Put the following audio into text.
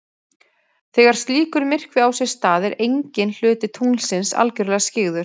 Þegar slíkur myrkvi á sér stað er enginn hluti tunglsins algjörlega skyggður.